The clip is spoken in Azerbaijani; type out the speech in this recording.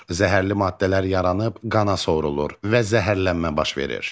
Zəhərli maddələr yaranıb qana sorulur və zəhərlənmə baş verir.